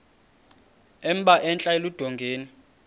emba entla eludongeni